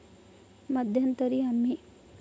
मध्यंतरी आम्ही.